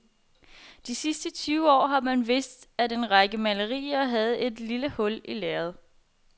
De sidste tyve år har man vidst, at en række malerier havde et lille hul i lærredet.